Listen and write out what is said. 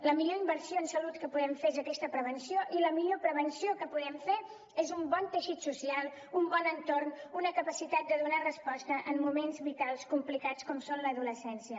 la millor inversió en salut que podem fer és aquesta prevenció i la millor prevenció que podem fer és un bon teixit social un bon entorn una capacitat de donar resposta en moments vitals complicats com són l’adolescència